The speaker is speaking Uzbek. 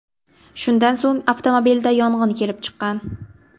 Shundan so‘ng avtomobilda yong‘in kelib chiqqan.